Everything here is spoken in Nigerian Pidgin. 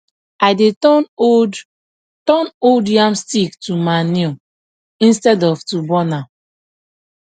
i dey turn old turn old yam stick to manure instead of to burn am